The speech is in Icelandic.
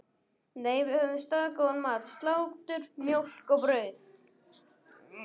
Nei, við höfðum staðgóðan mat: Slátur, mjólk og brauð.